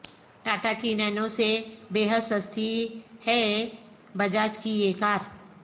ٹا ٹا کی نانو سے بے حد سستی ہے بجاج کی یہ کار